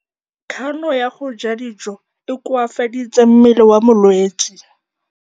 Kganô ya go ja dijo e koafaditse mmele wa molwetse.